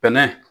Bɛnɛ